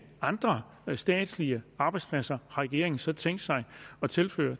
andre statslige arbejdspladser regeringen så tænkt sig at tilføre